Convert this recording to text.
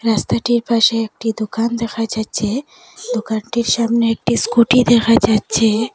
রাস্তাটির পাশে একটি দোকান দেখা যাচ্ছে দোকানটির সামনে একটি স্কুটি দেখা যাচ্ছে।